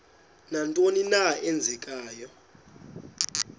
nantoni na eenzekayo